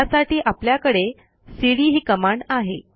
त्यासाठी आपल्याकडे सीडी ही कमांड आहे